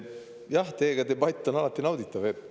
Jah, debatt teiega on alati nauditav.